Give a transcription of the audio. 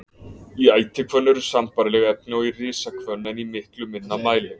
Í ætihvönn eru sambærileg efni og í risahvönn en í miklu minna mæli.